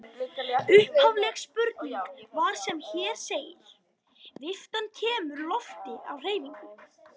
Upphafleg spurning var sem hér segir: Viftan kemur lofti á hreyfingu.